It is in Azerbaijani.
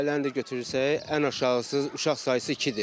Ailəni də götürürsək, ən aşağısı uşaq sayısı ikidir.